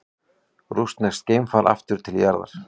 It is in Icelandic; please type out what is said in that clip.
Rússneskt geimfar aftur til jarðar